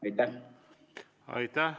Aitäh!